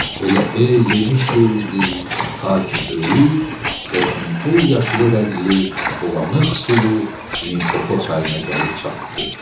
Elə hey yemiş yeyirdi, ta ki böyük bozuntul yaşılı rəngli, bulanıq sulu Limpopo çayına gəlib çatdı.